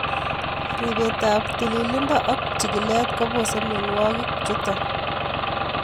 Ripetab tililindo ak chikilet kobose mionwokikchuton .